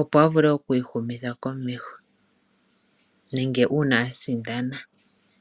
opo a vule okwiihumitha komeho nenge uuna asindana.